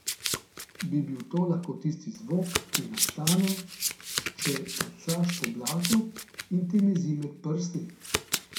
Bi bil to lahko tisti zvok, ki nastane, če tacaš po blatu in ti mezi med prsti?